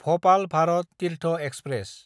Bhopal Bharat Tirth express